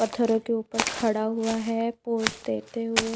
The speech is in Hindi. पत्थरों के ऊपर खड़ा हुआ है पोज देते हुए।